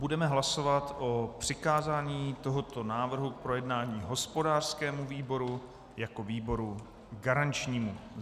Budeme hlasovat o přikázání tohoto návrhu k projednání hospodářskému výboru jako výboru garančnímu.